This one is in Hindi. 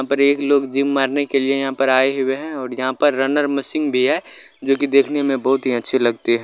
यहा पर एक लोग जिम मारने के लिए यहाँ पर आए हुए है और यहाँ पर रनर मशिन भी हैं जो कि देखने में बहुत ही अच्छे लगते हैं।